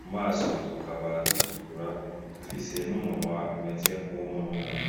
mu maso tukaba dutukura, dufise n'umunwa umeze nk'uwumununi.